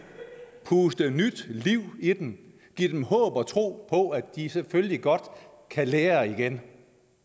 puste nyt liv i dem give dem håb og tro på at de selvfølgelig godt kan lære igen